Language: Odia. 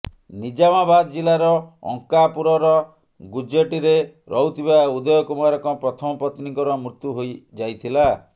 ନିଜାମାବାଦ ଜିଲ୍ଲାର ଅଙ୍କାପୁରର ଗୁଜ୍ଜେଟିରେ ରହୁଥିବା ଉଦୟ କୁମାରଙ୍କ ପ୍ରଥମ ପତ୍ନୀଙ୍କର ମୃତ୍ୟୁ ହୋଇଯାଇଥିଲା